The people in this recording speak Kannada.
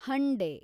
ಹಂಡೆ